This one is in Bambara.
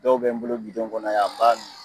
Dɔw bɛ n bolo bidɔn kɔnɔ ya n b'a min